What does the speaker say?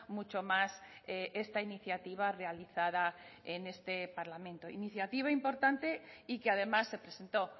mucho más esta iniciativa realizada en este parlamento iniciativa importante y que además se presentó